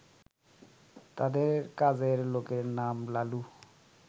তাদের কাজের লোকের নাম লালু